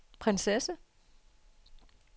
prinsesse